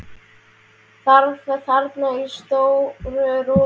Svaf þarna í stóru rúminu.